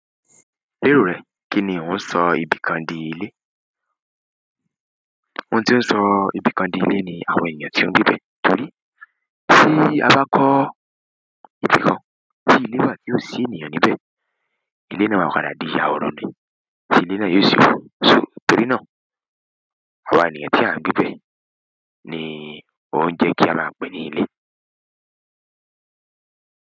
Léro rẹ kí ni oun sọ ibìkan dì ilé? Ohun tí ón sọ ibìkan dì ilé ni àwọn ènìyàn tí ó ń gbébẹ̀. Torí tí a bá kọ́ ibìkan tí ilé wà tí ó si sì ní ènìyàn níbẹ̀, ilé náà maa padà di ahoro ni. Tí ilé náà yóò sì run. So tòrí náà, àwa ènìyàn tí a ń gbébẹ̀ ni o ń jẹ́ kí a máa pè é ní ilé.